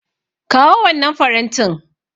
Kawo wannan farantin.